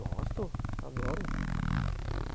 Gosto, adoro.